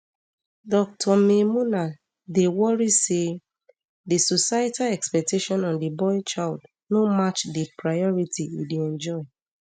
dr maymunah dey um worry say di societal expectation on di boy child no match di priority e dey enjoy